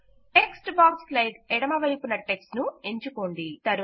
text box slide ఎడమవైపున్న text ను ఎంచుకోండి